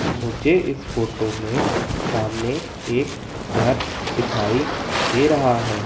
मुझे इस फोटो में सामने एक घर दिखाई दे रहा है।